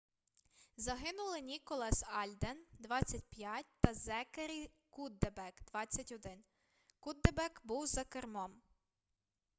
загинули ніколас альден 25 та зекері куддебек 21 куддебек був за кермом